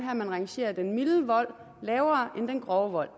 at man rangerer den milde vold lavere end den grove vold